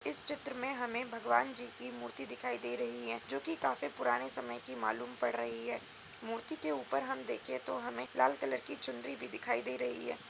इस चित्र में हमें भगवान जी की मूर्ति दिखाई दे रही हैं (है) जो कि काफी पुराने समय की मालूम पड़ रही है। मूर्ति के ऊपर हम देखे तो हमें लाल कलर की चुनरी भी दिखाई दे रही है।